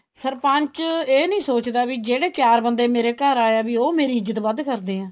ਸਰਪੰਚ ਇਹ ਨਹੀਂ ਸੋਚਦਾ ਵੀ ਜਿਹੜੇ ਚਾਰ ਬੰਦੇ ਮੇਰੇ ਘਰ ਆਏ ਆ ਵੀ ਉਹ ਮੇਰੀ ਇੱਜਤ ਵੱਧ ਕਰਦੇ ਹੈ